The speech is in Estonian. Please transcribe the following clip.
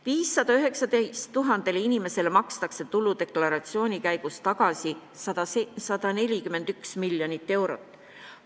519 000 inimesele makstakse tuludeklaratsiooni alusel tagasi 141 miljonit eurot.